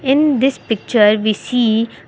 in this picture we see --